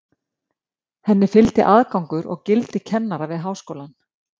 Henni fylgdi aðgangur að gildi kennara við háskólann.